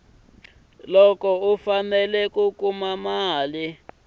loko u fanele ku kuma